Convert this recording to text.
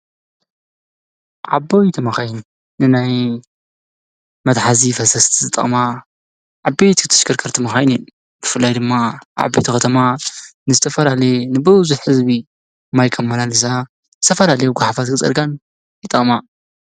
ዓበይ ተመኸይን ንናይ መትኃዚ ፈሰስቲ ዝጠቕማ ዓበት ክትሽከርከርቲ መሃይኒን ክፍላይ ድማ ዓበቲ ኸተማ ንስተፈራሌየ ንብዙኅ ሕዝቢ ማይ ከም መናሊሳ ዝተፈራሌ ውጐሓፋዝ ክጸርጋን ይጠቅማ።